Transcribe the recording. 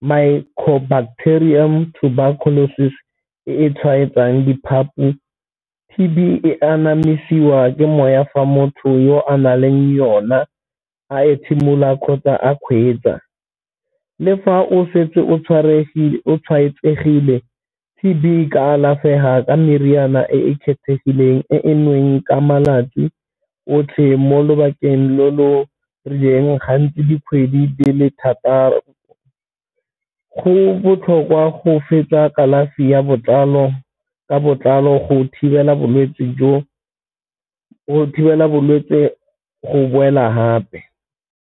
micro bacterium tuberculosis e e tshwaetsang di-part-e. T_B e anamisiwa ke moya fa motho yo a na leng yona a ethimola kgotsa a kgweetsa. Le fa o setse o tshwaetsegile T_B e ka alafega ka meriana e e kgethegileng ka malatsi otlhe mo lobakeng lo lo rileng ga ntse dikgwedi di le thataro. Go botlhokwa go fetsa kalafi ya botlalo ka botlalo go thibela bolwetse go boela gape.